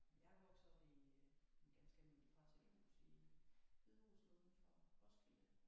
Jeg er vokset op i øh et ganske almindeligt parcelhus i Hedehusene uden for Roskilde